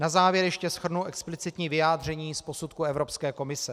Na závěr ještě shrnu explicitní vyjádření z posudku Evropské komise.